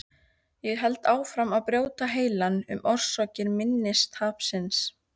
Ég held áfram að brjóta heilann um orsakir minnistapsins.